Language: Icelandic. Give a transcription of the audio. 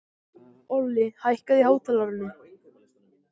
Olli, hækkaðu í hátalaranum.